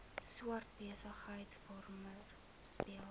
swart besigheidsforum speel